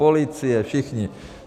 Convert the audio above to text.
Policie, všichni.